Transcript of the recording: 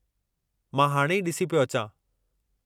मां हाणे ई ॾिसी पियो अचां।